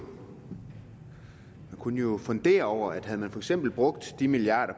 kunne jo fundere over at havde man for eksempel brugt de milliarder